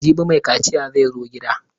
Jibi mai kaciya zai zo gida.